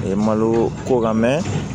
A ye malo ko kan mɛ